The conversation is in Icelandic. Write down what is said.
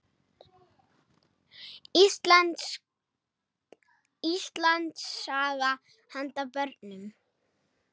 Íslandssaga handa börnum.